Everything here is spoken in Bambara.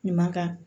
Ɲuman kan